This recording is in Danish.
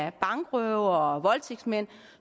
at bankrøvere og voldtægtsmænd